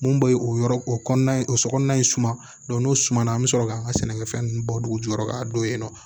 Mun be o yɔrɔ o kɔnɔna o so kɔnɔna in suma n'o sumana an bɛ sɔrɔ k'an ka sɛnɛkɛfɛn ninnu bɔ dugu jukɔrɔ ka don yen nɔ